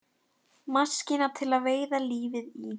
Maskína til að veiða lífið í.